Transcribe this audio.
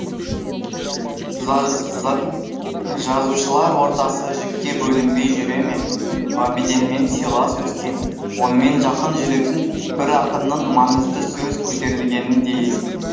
жазушылар ортасы жікке бөлінбей жүре ме ғабиденмен сыйлас өскен онымен жақын жүретін бір ақынның маңызды сөз көтерілгені де есімде